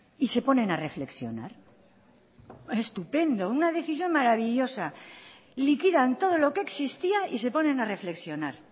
y se ponen a reflexionar estupendo una decisión maravillosa liquidan todo lo que existía y se ponen a reflexionar